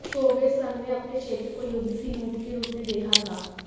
Soviet संघ ने अपने क्षेत्र को युद्ध की लूट के रूप में देखा था